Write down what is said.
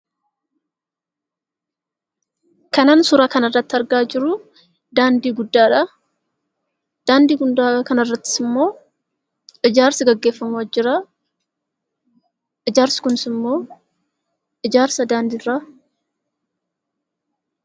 Kanan suura kana irratti argaa jiru, daandii guddaadha. Daandii kana gubbaarrattis immoo ijaarsi gaggeeffamaa jira. Ijaarsi Kunis immoo ijaarsa daandii irraa jedhama.